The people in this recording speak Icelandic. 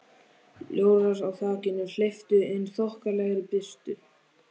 Ljórar á þakinu hleyptu inn þokkalegri birtu.